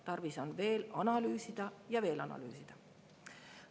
Tarvis on veel analüüsida ja veel analüüsida!